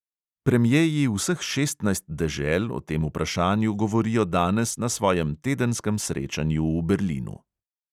Premjeji vseh šestnajst dežel o tem vprašanju govorijo danes na svojem tedenskem srečanju v berlinu.